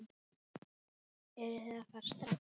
Eruð þið að fara strax?